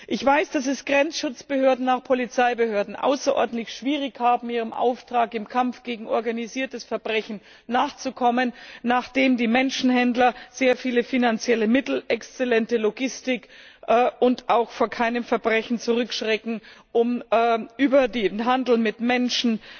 Ich weiß, dass es Grenzschutzbehörden und auch Polizeibehörden außerordentlich schwierig haben, ihrem Auftrag im Kampf gegen organisiertes Verbrechen nachzukommen, nachdem die Menschenhändler sehr viele finanzielle Mittel und exzellente Logistik haben und auch vor keinem Verbrechen zurückschrecken, um über den Handel mit Menschen